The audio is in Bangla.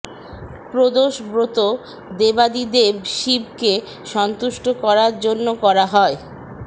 প্রদোষ ব্রত দেবাদিদেব শিবকে সন্তুষ্ট করার জন্য করা হয়